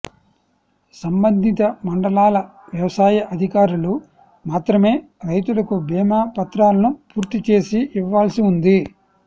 సంబ ంధిత మండలాల వ్యవసాయ అధికారులు మాత్రమే రైతు లకు బీమా పత్రాలను పూర్తి చేసి ఇవ్వాల్సి ఉంది